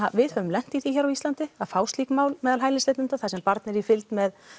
við höfum lent í því hér á Íslandi að fá slík mál meðal hælisleitanda þar sem barn er í fylgd með